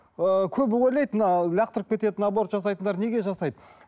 ыыы көбі ойлайды мына лақтырып кететін аборт жасайтындар неге жасайды